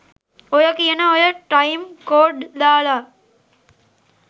ඔයා කියන ඔය ටයිම් කෝඩ් දාලා